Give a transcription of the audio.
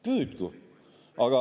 Püüdku!